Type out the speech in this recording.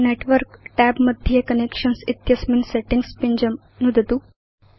network tab मध्ये connections इत्यस्मिन् settings पिञ्जं नुदतु